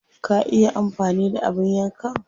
Ka iya amfani da abin yankan?